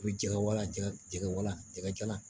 U bɛ jɛgɛwala jɛgɛ jɛgɛwala jɛgɛ jalan